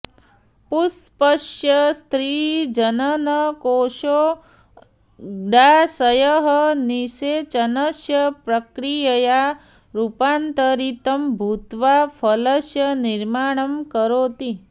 पुष्पस्य स्त्रीजननकोषोऽण्डाशयः निषेचनस्य प्रक्रियया रूपान्तरितं भूत्वा फलस्य निर्माणं करोति